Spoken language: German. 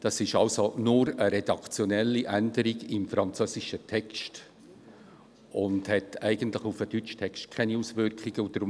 Es handelt sich nur um eine redaktionelle Änderung im französischen Text, die eigentlich keine Auswirkungen auf den deutschen Text hat.